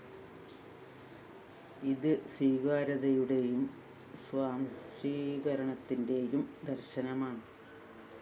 ഇത് സ്വീകാര്യതയുടെയും സ്വാംശീകരണത്തിന്റെയും ദര്‍ശനമാണ്